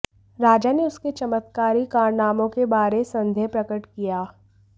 राजा ने उसके चमत्कारी कारनामों के बारे संदेह प्रकट किया